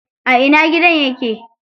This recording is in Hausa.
A ina gidan yake?